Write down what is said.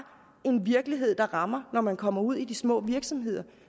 en virkelighed der rammer når man kommer ud i de små virksomheder